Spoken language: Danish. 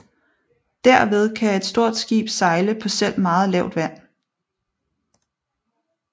Derved kan et stort skib sejle på selv meget lavt vand